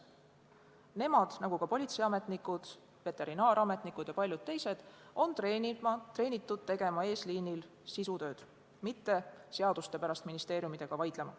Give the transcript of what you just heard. Nemad – nagu ka politseiametnikud, veterinaarametnikud ja paljud teised – on treenitud tegema eesliinil sisutööd, mitte seaduste pärast ministeeriumidega vaidlema.